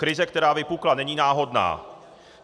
Krize, která vypukla, není náhodná.